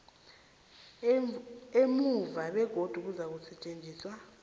emuva begodu kuzakusetjenzwa